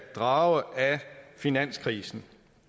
drage af finanskrisen